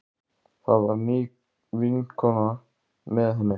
Það var ný vinkona með henni.